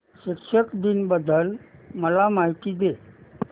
शिक्षक दिन बद्दल मला माहिती दे